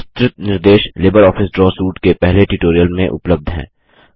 विस्तृत निर्देश LibreOffice Draw suite के पहले ट्यूटोरियल में उपलब्ध हैं